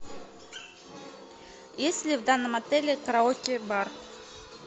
есть ли в данном отеле караоке бар